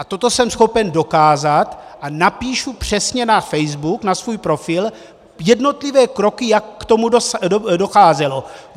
A toto jsem schopen dokázat a napíšu přesně na Facebook, na svůj profil, jednotlivé kroky, jak k tomu docházelo.